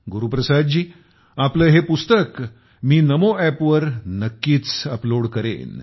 गुरुप्रसाद जी आपले हे पुस्तक मी नमो ऐपवर नक्कीच अपलोड करेन